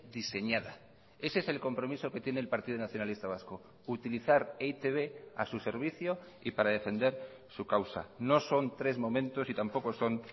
diseñada ese es el compromiso que tiene el partido nacionalista vasco utilizar e i te be a su servicio y para defender su causa no son tres momentos y tampoco son